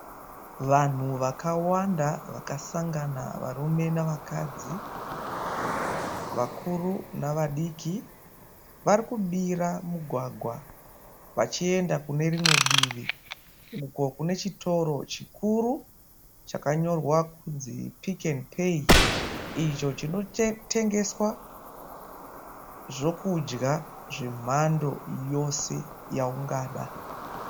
Vanhu vakawanda vakasangana varume nevakadzi, vakuru nevadiki varikudira mugwagwa vachienda uko kunechitoro chikuru chinonzi pick' n pay icho chinotengeswa zvekudya zvemhando yose zvaungada.